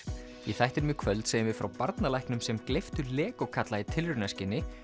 í þættinum í kvöld segjum við frá barnalæknum sem gleyptu Lego kalla í tilraunaskyni